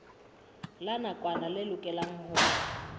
la nakwana le lokelwang ho